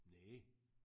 Næ